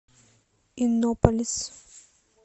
иннополис